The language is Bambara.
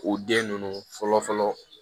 K'u den ninnu fɔlɔ fɔlɔ